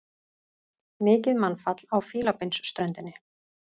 Mikið mannfall á Fílabeinsströndinni